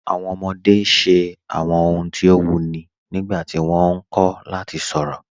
Awọn ọmọde ṣẹ awọn ọ̀huǹ ti o wuyì nígbàtí wọ́n nkọ̀ lati sọ̀rọ.